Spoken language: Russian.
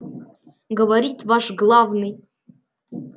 говорит ваш главный